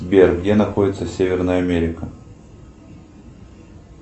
сбер где находится северная америка